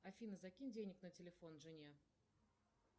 афина закинь денег на телефон жене